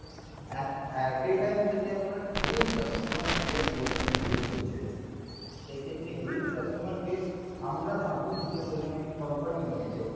এ এ সেক্ষেত্রে huge customer base আমরা আমি দিতে বলি নাই company নিয়েছে